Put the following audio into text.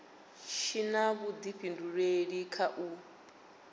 tshi na vhuifhinduleli kha u